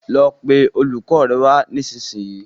lọ pé olùkó rẹ wá nisisiyi